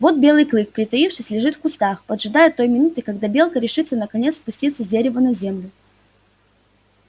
вот белый клык притаившись лежит в кустах поджидая той минуты когда белка решится наконец спуститься с дерева на землю